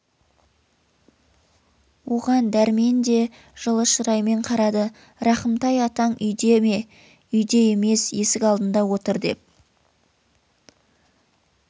оған дәрмен де жылы шыраймен қарады рахымтай атаң үйде ме үйде емес есік алдында отыр деп